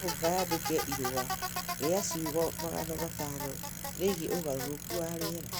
no mũhaka yandike irũa rĩa ciugo magana matano rĩgiĩ ũgarũrũku wa rĩera.